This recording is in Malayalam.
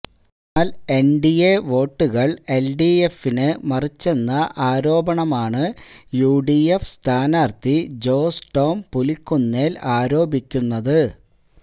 എന്നാൽ എൻഡിഎ വോട്ടുകൾ എൽഡിഎപിന് മറിച്ചെന്ന ആരോപണമാണ് യുഡിഎഫ് സ്ഥാനാർത്ഥി ജോസ് ടോം പുലിക്കുന്നേൽ ആരോപിക്കുന്നത്